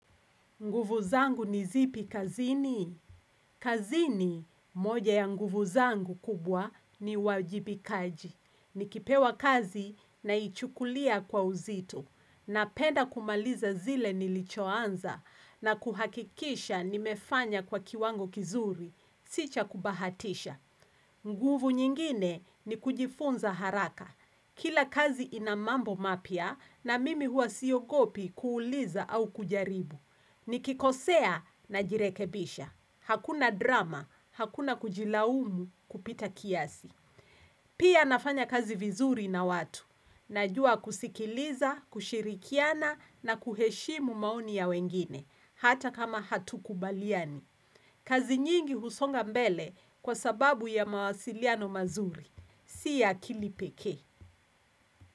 Nguvu zangu nizipi kazini? Kazini, moja ya nguvu zangu kubwa ni uwajibikaji. Nikipewa kazi na ichukulia kwa uzito na penda kumaliza zile nilichoanza na kuhakikisha nimefanya kwa kiwango kizuri. Sicha kubahatisha. Nguvu nyingine ni kujifunza haraka. Kila kazi inamambo mapya na mimi hua siogopi kuuliza au kujaribu. Ni kikosea na jirekebisha. Hakuna drama, hakuna kujilaumu kupita kiasi. Pia nafanya kazi vizuri na watu. Najua kusikiliza, kushirikiana na kuheshimu maoni ya wengine, hata kama hatu kubaliani. Kazi nyingi husonga mbele kwa sababu ya mawasiliano mazuri. Si akili pekee.